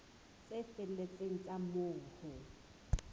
tse felletseng tsa moo ho